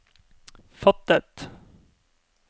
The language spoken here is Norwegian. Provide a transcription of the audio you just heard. fattet